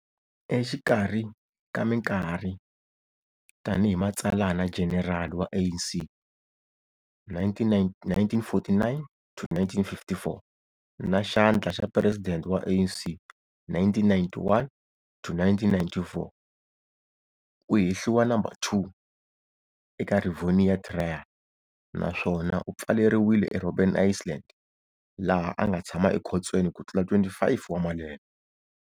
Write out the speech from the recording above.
Exikarhi ka minkarhi tani hi Matsalana Jenerali wa ANC 1949-1954, na Xandla xa President wa ANC 1991-1994, u hehliwa No.2 eka Rivonia Trial naswona u pfaleriwile eRobben Island laha anga tshama ekhotsweni kutlula 25 wa malembe.